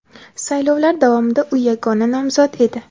Saylovlar davomida u yagona nomzod edi.